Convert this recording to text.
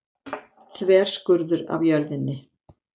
Þverskurður af jörðinni.